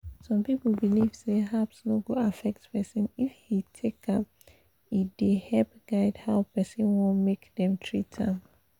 some people believe say herbs no go affect person if he take am e dey help guide how person want make them treat am.